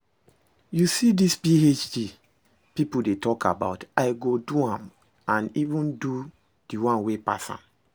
You see dis PhD people dey talk about, I go do am and even do the one wey pass am